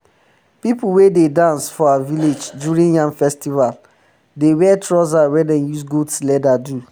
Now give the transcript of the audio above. pipu um wey dey dance for our village during yam festival dey um wear trouser wey dem use goat leather do